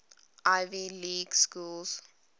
ivy league schools